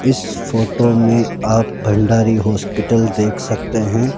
इस फोटो में आप भंडारी हॉस्पिटल देख सकते हैं।